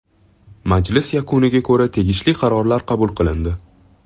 Majlis yakunlariga ko‘ra tegishli qarorlar qabul qilindi.